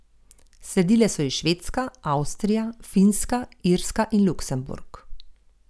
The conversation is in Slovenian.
Sledile so ji Švedska, Avstrija, Finska, Irska in Luksemburg.